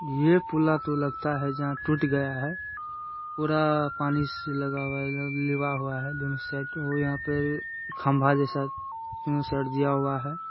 ये पूला तो लगता है जा टूट गया है पूरा पानी से लगा हुआ है दोनों साइड खंबा जैसा दोनों साइड दिया हुआ है।